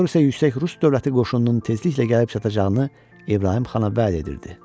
Mayor isə yüksək rus dövləti qoşununun tezliklə gəlib çatacağını İbrahim xana vəd edirdi.